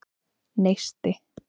Neisti